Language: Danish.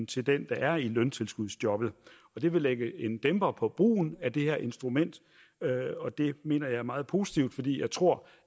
til den der er i løntilskudsjobbet og det vil lægge en dæmper på brugen af det her instrument og det mener jeg er meget positivt fordi jeg tror